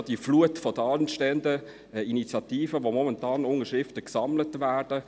Man sieht auch die Flut an anstehenden Initiativen, für die momentan Unterschriften gesammelt werden.